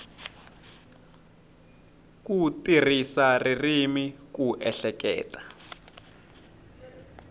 ku tirhisa ririmi ku ehleketa